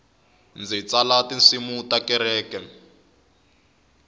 ndzi tsala tinsimu ta kereke